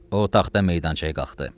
O taxta meydançaya qalxdı.